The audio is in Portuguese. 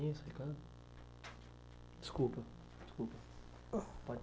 desculpa, desculpa.